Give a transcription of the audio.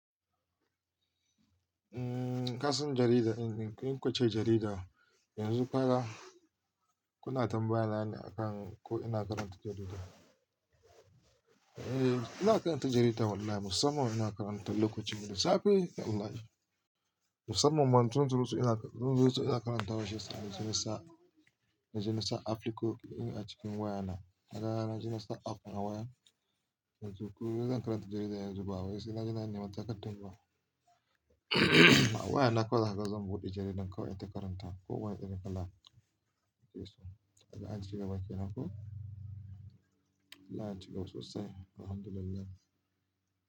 Umm, ka san jarida in, in ku ce jarida yanzu fara kuna tambaya ni akan ko ina karanta jarida. Eh, ina karanta jarida wallahi musamman ina karanta lokacin da safe Allah ya ji. Musamman Manzun Tulus ina, Manzun Tulus ina karanta wasu yarinya janar sa, janar sa Afirko in a cikin wayana. Haka janar sa Afirka waya. Yanzu ku zan karanta jarida yanzu babu, sai na ji na nema takardun ba. Wayana kawai haka zan buɗe jaridan ka wanke karanta ko waya irin kala. Kishi. Haka an cika bakina ko? Allah ya cika sosai, Alhamdulillah.